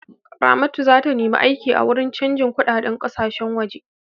Ramatu za ta nemi aiki a wuri canjin kuɗadein ƙasashe waje.